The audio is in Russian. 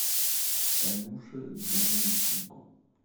танюше данильченко